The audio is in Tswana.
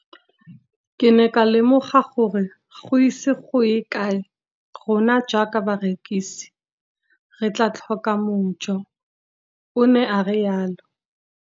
Ke ne ka lemoga gore go ise go ye kae rona jaaka barekise re tla tlhoka mojo, o ne a re jalo.